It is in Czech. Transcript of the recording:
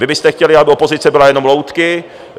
Vy byste chtěli, aby opozice byly jenom loutky.